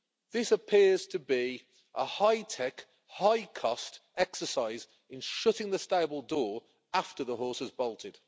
This appears to be a high tech, high cost exercise in shutting the stable door after the horse has bolted.